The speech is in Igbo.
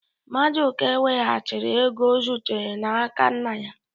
Maduka weghachiri ego o zuru n'aka nna ya